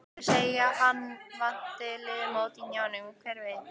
Þeir segja að hann vanti liðamót í hnjánum, hver veit?